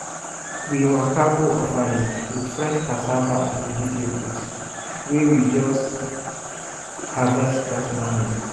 we waka go orphanage with fresh cassava and vegetables wey we just harvest that morning.